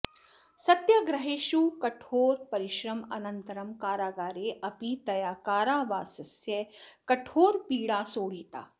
सत्याग्रहेषु कठोरपरिश्रमानन्तरं कारागारे अपि तया कारावासस्य कठोरपीडा सोढिता